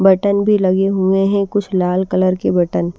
button भी लगे हुए हैं कुछ लाल कलर के बटन --